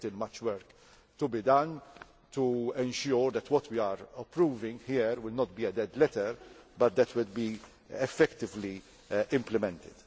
There is still much work to be done to ensure that what we are approving here will not be a dead letter, but will be effectively implemented.